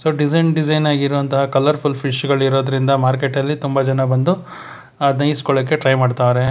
Design design ಆಗಿರುವಂತಹ colourful fish ಗಳಿರುವುದರಿಂದ ಮಾರ್ಕೆಟ್ನಲ್ಲಿ ತುಂಬಾ ಜನ ಬಂದು ಅದ್ನ ಈಸ್ಕೊಳೊಕೆ ಟ್ರೈ ಮಾಡ್ತಾ ಇದ್ದಾರೆ.